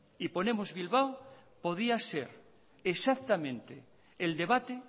y ponemos bilbao podía ser exactamente el debate